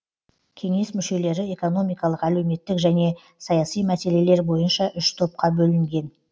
кеңес мүшелері экономикалық әлеуметтік және саяси мәселелер бойынша үш топқа бөлінген